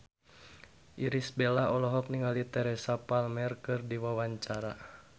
Irish Bella olohok ningali Teresa Palmer keur diwawancara